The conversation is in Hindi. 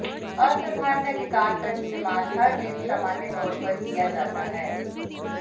असाधारण अधिकार का इस्तेमाल हर दिन सामान्य तौर पर किया जाता है